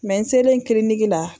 n selen kiliniki la.